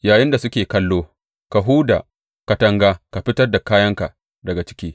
Yayinda suke kallo, ka huda katanga ka fitar da kayanka daga ciki.